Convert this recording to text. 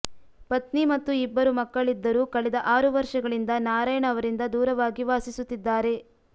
ಪತ್ನಿ ಮತ್ತು ಇಬ್ಬರು ಮಕ್ಕಳಿದ್ದರೂ ಕಳೆದ ಆರು ವರ್ಷಗಳಿಂದ ನಾರಾಯಣ ಅವರಿಂದ ದೂರವಾಗಿ ವಾಸಿಸುತ್ತಿದ್ದಾರೆ